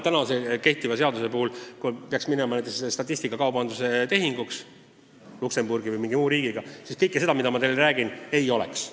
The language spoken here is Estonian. Kehtiva seaduse puhul on nii, et kui peaks minema statistikakaubanduse tehinguks näiteks Luksemburgi või mingi muu riigiga, siis kõike seda, millest ma teile just rääkisin, ei oleks.